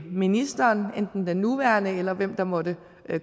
ministeren enten den nuværende eller hvem der måtte